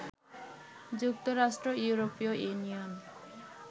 যুক্তরাষ্ট্র, ইউরোপীয় ইউনিয়ন